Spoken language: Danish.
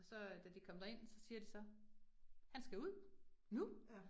Så øh da de kom derind, så siger de så, han skal ud nu